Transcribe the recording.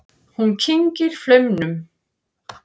Hún kyngir flaumnum.